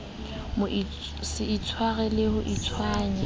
se itshwenye le ho itshwenya